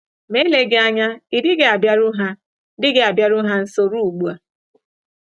Ma eleghị anya ị dịghị abịaru ha dịghị abịaru ha nso ruo ugbu a.